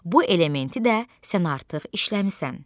Bu elementi də sən artıq işləmisən.